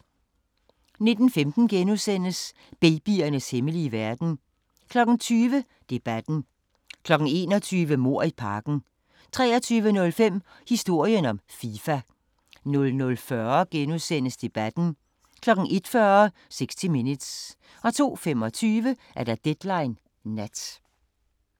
19:15: Babyernes hemmelige verden * 20:00: Debatten 21:00: Mord i parken 23:05: Historien om Fifa 00:40: Debatten * 01:40: 60 Minutes 02:25: Deadline Nat